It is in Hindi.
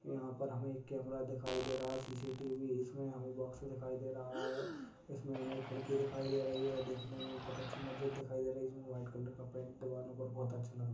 यहां पर हमें ए क कैमरा दिखाई दे रहा है सी_सी_टी_वी इसमें हमें बॉक्स दिखाई दे रहा है इसमें हमें खिड़की दिखाई दे रही है देखने में बहुत अच्छी मस्जिद दिखाई दे रही इसमें वाइट कलर का पेंट दीवारो पर बहुत अच्छा लगा--